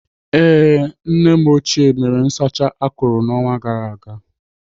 Ee, nne m ochie mere nsacha akụrụ n'ọnwa gara aga.